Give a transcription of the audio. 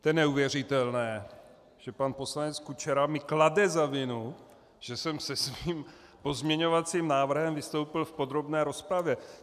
To je neuvěřitelné, že pan poslanec Kučera mi klade za vinu, že jsem se svým pozměňovacím návrhem vystoupil v podrobné rozpravě.